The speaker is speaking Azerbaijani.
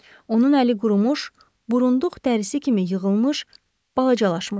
Onun əli qurumuş, burunduğ dərrisi kimi yığılmış, balacalaşmışdı.